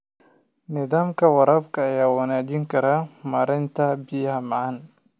Nidaamka waraabka ayaa wanaajin kara maaraynta biyaha macaan.